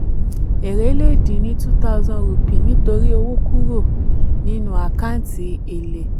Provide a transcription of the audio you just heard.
èrè le dín ni two thousand rupee nítorí owó kúrò nítorí owó kúrò nínú àkántì èlè.